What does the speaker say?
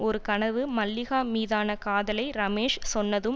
ஒரு கனவு மல்லிகா மீதான காதலை ரமேஷ் சொன்னதும்